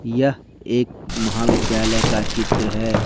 यह एक महाविद्यालय का चित्र है।